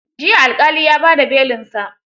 Jiya alƙali ya ba da belin sa.